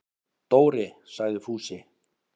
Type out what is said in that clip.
Dóri! sagði Fúsi.